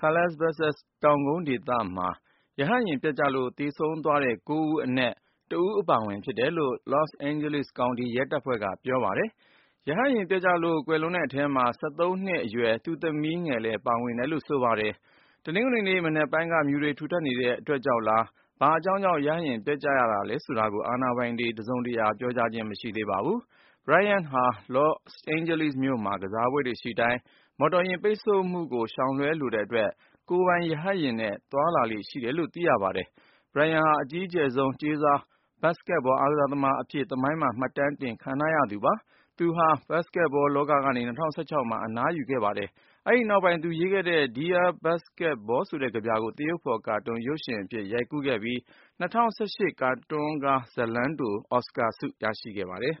Calabasas တောင်ကုန်းဒေသမှာ ရဟတ်ယာဉ်ပျက်ကျလို့ သေဆုံးသွားတဲ့ ၉ ဦးအနက် ၁ ဦးအပါအဝင် ဖြစ်တယ်လို့ လော့စ်အိန်ဂျလိစ် Couty ရဲတပ်ဖွဲ့က ပြောပါတယ်။ ရဟတ်ယာဉ်ပျက်ကျလို့ ကွယ်လွန်တဲ့အထဲမှာ အသက် ၁၃ နှစ်အရွယ် သူ့သမီးငယ် Gianna လည်း ပါဝင်တယ်လို့ ဆိုပါတယ်။ တနင်္ဂနွေနေ့ မနက်ပိုင်းက မြူတွေထူထပ်နေတဲ့ အတွက်ကြောင့်လား ဘာအကြောင်းကြောင့် ရဟတ်ယာဉ်ပျက်ကျရသလဲ ဆိုတာကို အာဏာပိုင်တွေက တစုံတရာ ပြောကြားခြင်း မရှိသေးပါဘူး။ Bryant ဟာ လော့စ်အိန်ဂျလိစ်မြို့မှာ ကစားပွဲတွေရှိတိုင်း မော်တော်ယာဉ် ပိတ်ဆို့မှုကို ရှောင်လွှဲလိုတဲ့အတွက် ကိုယ်ပိုင်ရဟတ်ယာဉ်နဲ့ သွားလေ့ရှိတယ်လို့ သိရပါတယ်။ Bryant ဟာ အကြီးကျယ်ဆုံး ကြေးစား ဘတ်စ်ကက်ဘောသမားတဦးအဖြစ် သမိုင်းမှာ မှတ်တမ်းတင်ခြင်း ခံထားရသူဖြစ်ပါတယ်။ သူဟာ ဘတ်စ်ကက်ဘော လောကကနေ ၂၀၁၆ မှာ အနားယူခဲ့တာဖြစ်ပါတယ်။ အဲဒီနောက်ပိုင်း သူရေးသားခဲ့တဲ့ “Dear Basketball” ဆိုတဲ့ ကဗျာကို သရုပ်ဖော်ကာတွန်း ရုပ်ရှင်ကားအဖြစ် ရိုက်ကူးခဲ့ပြီး ၂၀၁၈ ကာတွန်းကားဇာတ်လမ်းတို အော်စကာဆု ရရှိခဲ့ပါတယ်။